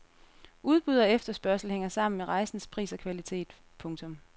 Udbud og efterspørgsel hænger sammen med rejsens pris og kvalitet. punktum